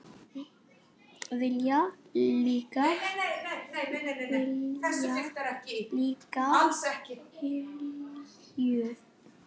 Vilja líka hlýju.